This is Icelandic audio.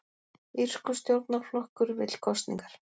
Írskur stjórnarflokkur vill kosningar